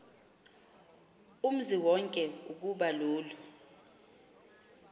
umziwonke ukuba lolu